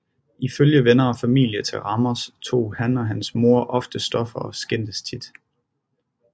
Ifølge venner og familie til Ramos tog han og hans mor ofte stoffer og skændtes tit